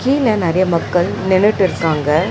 கீழ நெறைய மக்கள் நின்னுட்டு இருக்காங்க.